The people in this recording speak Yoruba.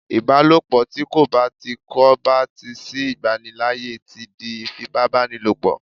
ìbálòpọ̀ ti ko ba ti ko ba ti sí igbanilaaye ti di ifipabanilopo